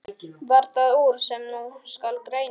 Varð það úr, sem nú skal greina.